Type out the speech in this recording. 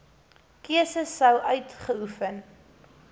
keuse sou uitgeoefen